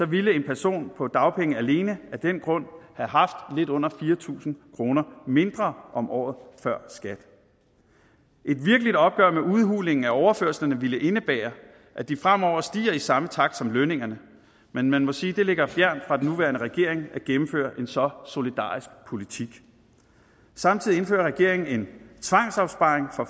ville en person på dagpenge alene af den grund have haft lidt under fire tusind kroner mindre om året før skat et virkeligt opgør med udhulingen af overførslerne ville indebære at de fremover stiger i samme takt som lønningerne men man må sige at det ligger fjernt fra den nuværende regering at gennemføre en så solidarisk politik samtidig indfører regeringen en tvangsopsparing for